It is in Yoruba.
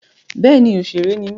Bẹ́ẹ̀ni òṣèré ni mí.